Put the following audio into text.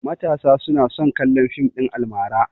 Matasa tana son kallon fim ɗin almara